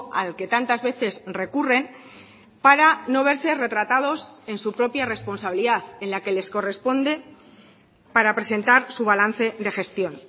al que tantas veces recurren para no verse retratados en su propia responsabilidad en la que les corresponde para presentar su balance de gestión